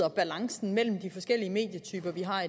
at balancen mellem de forskellige medietyper vi har